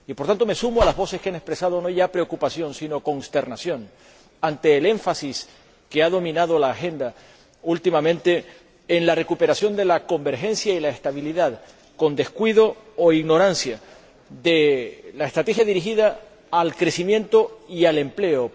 Por consiguiente, me sumo a las voces que han expresado, no ya preocupación, sino consternación ante el énfasis que ha dominado la agenda últimamente en la recuperación de la convergencia y la estabilidad, con descuido o ignorancia de la estrategia dirigida al crecimiento y al empleo.